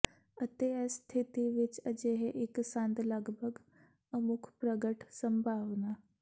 ਅਤੇ ਇਸ ਸਥਿਤੀ ਵਿੱਚ ਅਜਿਹੇ ਇੱਕ ਸੰਦ ਲਗਭਗ ਅਮੁੱਕ ਪ੍ਰਗਟ ਸੰਭਾਵਨਾ